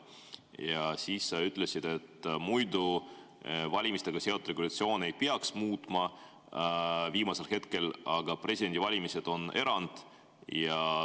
Ja siis sa ütlesid, et valimistega seotud regulatsiooni ei peaks muutma viimasel hetkel, aga presidendivalimised on erand.